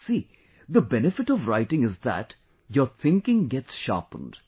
See, the benefit of writing is that your thinking gets sharpened